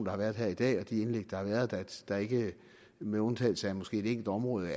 har været her i dag og de indlæg der har været at der ikke med undtagelse af måske et enkelt område